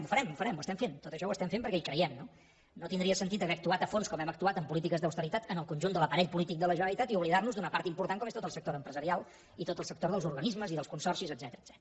ho farem ho farem ho estem fent tot això ho estem fent perquè hi creiem no no tindria sentit haver actuat a fons com hem actuat en polítiques d’austeritat en el conjunt de l’aparell polític de la generalitat i oblidar nos d’una part important com és tot el sector empresarial i tot el sector dels organismes i dels consorcis etcètera